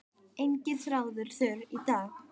Enginn þráður þurr í dag.